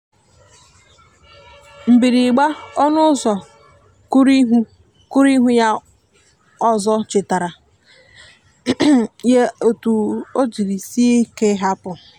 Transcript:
mgbirigba ọnụ ụzọ kuruihù kuruihù ya ozo chetara ya etu o jiri sie ike ị hapụ